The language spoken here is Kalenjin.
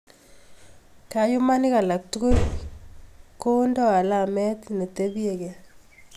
Kayumanik alak tugulkondeni alamet ne tepchei keny